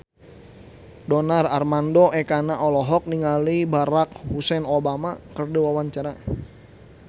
Donar Armando Ekana olohok ningali Barack Hussein Obama keur diwawancara